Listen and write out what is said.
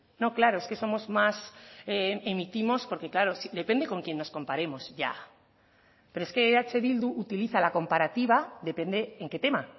no claro es que somos más emitimos porque claro depende con quién nos comparemos ya pero es que eh bildu utiliza la comparativa depende en qué tema